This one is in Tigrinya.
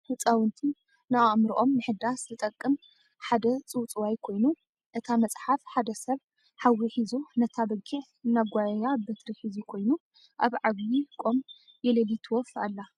ህፃውንቲ ን ኣእሙሮኦም ምሕዳስ ዝጥቅም ሓደ ፅውፅዋይ ኮይኑ እታ መፅሓፍ ሓደ ሰብ ሓዊ ሒዙ ነታ በጊዕ እናጋየያ በትሪ ሒዙ ኮይኑ ኣብ ዓብይ ቆም የለሊት ዎፍ ኣላ ።